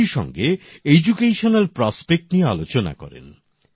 একই সঙ্গে শিক্ষার সম্ভাবনা নিয়ে আলোচনা করেন